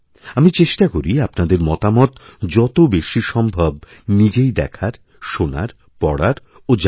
আমি চেষ্টা করি আপনাদের মতামত যতবেশি সম্ভব নিজেই দেখার শোনার পড়ার ও জানার